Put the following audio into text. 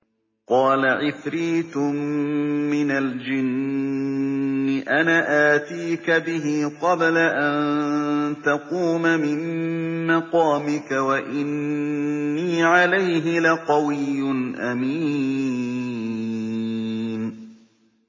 قَالَ عِفْرِيتٌ مِّنَ الْجِنِّ أَنَا آتِيكَ بِهِ قَبْلَ أَن تَقُومَ مِن مَّقَامِكَ ۖ وَإِنِّي عَلَيْهِ لَقَوِيٌّ أَمِينٌ